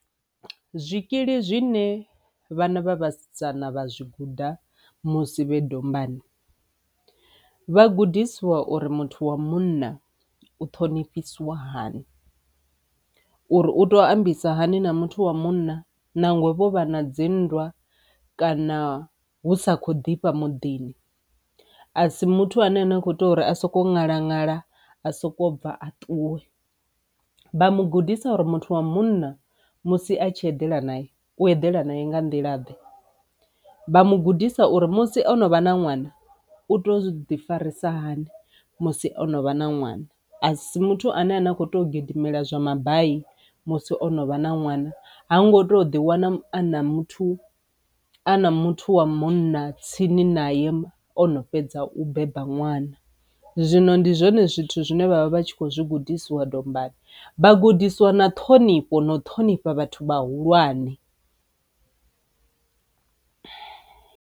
Zwikili zwine vhana vha vhasidzana vha zwi guda musi vhe dombani vha gudisiwa uri muthu wa munna u ṱhonifhisiwa hani, uri u tou ambisa hani na muthu wa munna nangwe vho vha na dzinndwa kana hu sa kho ḓifha muḓini a si muthu ane na khou ita uri a soko ṅalaṅala a soko bva a ṱuwe, vha mu gudisa uri muthu wa munna musi a tshi eḓela na u eḓela nae nga nḓila ḓe. Vha mu gudisa uri musi o no vha na ṅwana u to uzwi ḓi farisa hani musi o no vha na ṅwana, a si muthu ane ane a kho to gidimela zwa mabai musi o no vha na ṅwana, ha ngo to ḓi wana ana muthu a na muthu wa munna tsini na ye ono fhedza u beba ṅwana. Zwino ndi zwone zwithu zwine vha vha vha tshi kho zwi gudisiwa dombani, vha gudisiwa na ṱhonifho na u ṱhonifha vhathu vhahulwane.